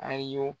A y'o